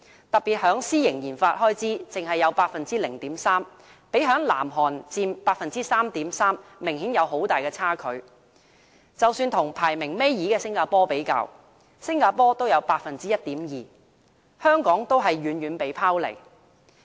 特別是私營研發開支，只得 0.3%， 相比南韓的 3.3% 明顯有很大差距，即使與排名倒數第二的新加坡相比，新加坡也有 1.2%， 香港遠遠被拋離。